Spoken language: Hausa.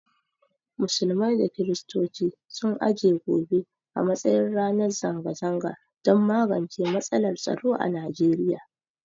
Musulmai da kirstoci sun aje gobe a matsayin ranar zanga zanga don magance matsalar tsaro a Nigeriya.